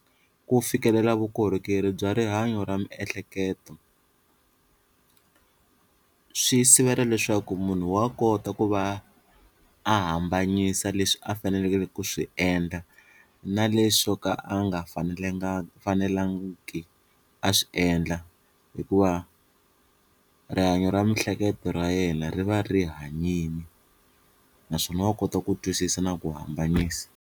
Ku fikelela vukorhokeri bya rihanyo ra miehleketo swi sivela leswaku munhu wa kota ku va a hambanyisa leswi a faneleke ku swi endla na leswo ka a nga fanelanga fanelangiki a swi endla hikuva rihanyo ra miehleketo ra yena ri va ri hanyini naswona wa kota ku twisisa na ku hambanisa.